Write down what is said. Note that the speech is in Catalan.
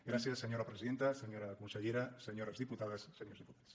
gràcies senyora presidenta senyora consellera se·nyores diputades senyors diputats